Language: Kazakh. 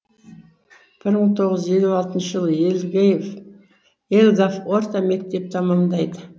бір мың тоғыз жүз елу алтыншы жылы елгав орта мектеп тәмамдайды